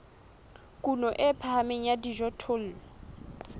kuno e phahameng ya dijothollo